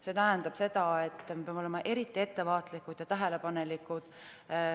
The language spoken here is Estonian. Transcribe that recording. See tähendab seda, et me peame olema eriti ettevaatlikud ja tähelepanelikud.